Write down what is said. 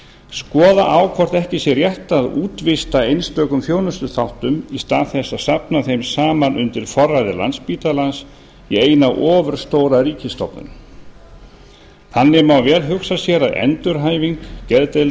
skoða á hvort ekki sé rétt að útvista einstökum þjónustuþáttum í stað þess að safna þeim saman undir forræði landspítalans í eina ofurstóra ríkisstofnun þannig má vel hugsa sér að